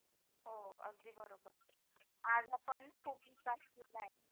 हो अगदी बरोबर आज आपण खूप